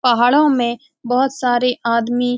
पहाड़ों में बहुत सारे आदमी --